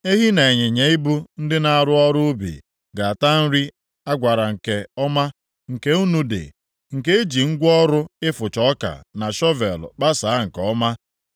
Ehi na ịnyịnya ibu ndị na-arụ ọrụ ubi ga-ata nri a gwara nke ọma nke nnu dị, nke eji ngwa ọrụ ịfụcha ọka na shọvel kpasaa nke ọma.